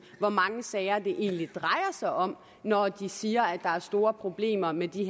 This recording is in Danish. hvor mange sager det egentlig drejer sig om når de siger at der er store problemer med de